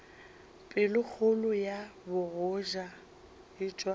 pelokgolo ya bogoja e tšwa